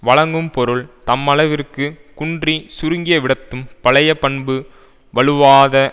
வழங்கும் பொருள் தம்மளவிற்குக் குன்றிச் சுருங்கியவிடத்தும் பழைய பண்பு வழுவாத